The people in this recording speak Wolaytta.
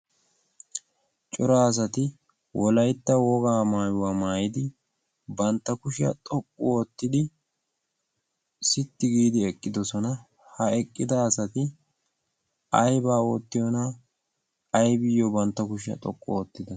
cora asati wolaytta wogaa maayuwaa maayidi bantta kushiyaa xoqqu oottidi sitti giidi eqqidosona. ha eqqida asati aybbaa oottiyoona aybbiyyo bantta kushiyaa xoqqu oottidonna?